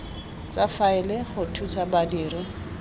tsa faele go thusa badiri